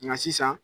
Nka sisan